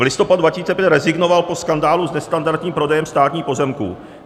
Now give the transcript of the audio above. - V listopadu 2005 rezignoval po skandálu s nestandardním prodejem státních pozemků.